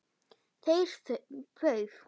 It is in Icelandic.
Þeir pauf